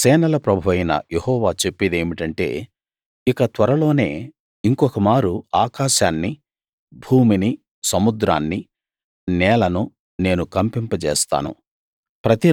సేనల ప్రభువైన యెహోవా చెప్పేదేమిటంటే ఇక త్వరలోనే ఇంకొకమారు ఆకాశాన్ని భూమిని సముద్రాన్ని నేలను నేను కంపింపజేస్తాను